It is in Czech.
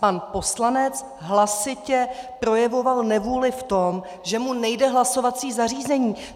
Pan poslanec hlasitě projevoval nevůli v tom, že mu nejde hlasovací zařízení.